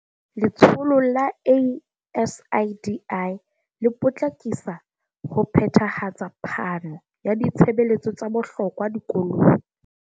Letsholo la ASIDI le potlakisa ho phethahatsa phano ya ditshebeletso tsa bohlokwa dikolong.